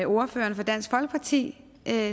ordføreren for dansk folkeparti